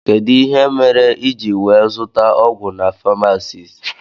Kedụ ihe mere iji wee zụta ọgwụ na pamasist?